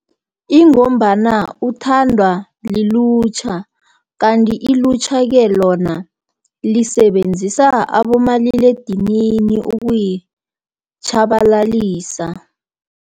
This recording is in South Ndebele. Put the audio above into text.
Ingombana uthandwa lilutjha, kanti ilutjha-ke, lona lisebenzisa abomaliledinini ukuyitjhabalalisa.